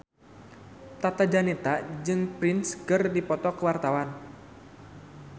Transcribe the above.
Tata Janeta jeung Prince keur dipoto ku wartawan